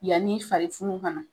Yanni fari funu ka na.